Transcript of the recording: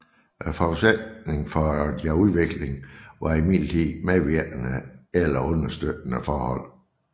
Forudsætningen for deres udvikling var imidlertid medvirkende eller understøttende forhold